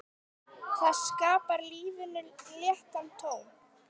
Það skapar lífinu léttan tón.